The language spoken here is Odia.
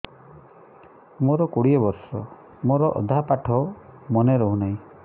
ମୋ କୋଡ଼ିଏ ବର୍ଷ ମୋର ଅଧା ପାଠ ମନେ ରହୁନାହିଁ